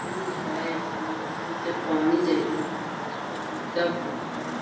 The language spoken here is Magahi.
पुल हेय पुलवा के नीचे पानी जाएत हेय बहुत ऊँचा पुल हेय।